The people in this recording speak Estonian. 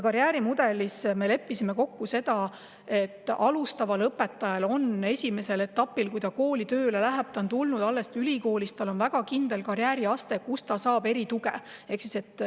Karjäärimudeli kohta me leppisime kokku, et alustaval õpetajal on esimeses etapis, kui ta kooli tööle läheb – ta on alles ülikoolist tulnud –, väga kindel karjääriaste, kus ta saab erituge.